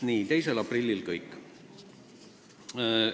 Nii, 2. aprilli kohta on kõik.